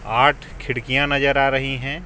आठ खिड़किया नजर आ रही हे.